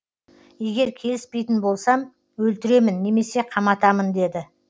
егер келіспейтін болсам өлтіремін немесе қаматамын деді